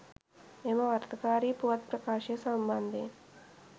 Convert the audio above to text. මෙම වරදකාරී පුවත් ප්‍රකාශය සම්බන්ධයෙන්